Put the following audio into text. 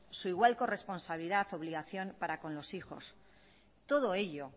su igual corresponsabilidad y obligación para con los hijos todo ello